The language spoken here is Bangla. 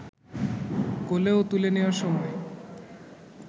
কোলেও তুলে নেওয়ার সময়